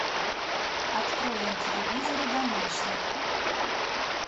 открой на телевизоре домашний